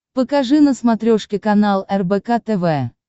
покажи на смотрешке канал рбк тв